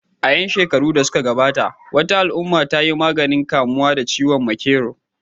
A 'yan watannin da suka gabata, wata al'umma ta yi maganin kamuwa da ciwon makero